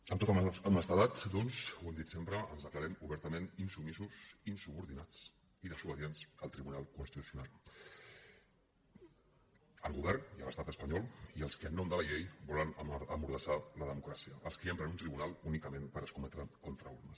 amb tota honestedat doncs ho hem dit sempre ens declarem obertament insubmisos insubordinats i desobedients al tribunal constitucional al govern i a l’estat espanyol i als qui en nom de la llei volen emmordassar la democràcia als qui empren un tribunal únicament per escometre contra urnes